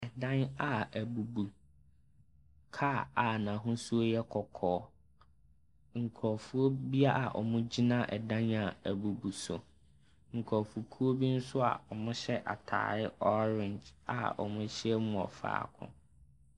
Ɛdan a abubu, kaa a n'ahosuo yɛ kɔkɔɔ, nkurofoɔ bi a ɔmo gyina ɛdan a abubu so, nkurofokuw bi nso a ɔmo hyɛ atareɛ ɔreenge a ɔmo ahyiam wɔ faako.